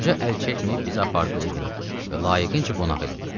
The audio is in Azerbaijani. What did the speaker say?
Qoca əl çəkməyib bizi apardı evinə və layiqincə qonaq elədi.